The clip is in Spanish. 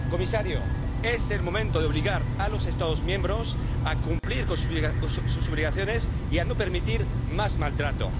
Señor comisario, es el momento de obligar a los Estados miembros a cumplir con sus obligaciones y a no permitir más maltrato.